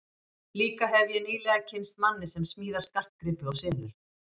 Líka hefi ég nýlega kynnst manni sem smíðar skartgripi og selur.